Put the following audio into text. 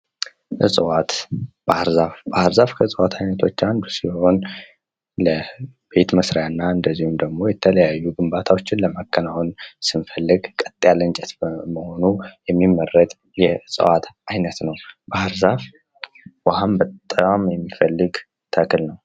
ዕጽዋት ባህርዛፍ ባህርዛፍ ከእጽዋት አይነቶች አንዱ ሲሆን ለቤት መስሪያና እንድሁም ደግሞ ለተለያዩ ግንባታዎችን ለማከናወን ስንፈልግ ቀጥ ያለ እንጨት በመሆኑ የሚመረጥ የእጽዋት አይነት ነው። ባህርዛፍ ውሃን በጣም የሚፈልግ ተክል ነው።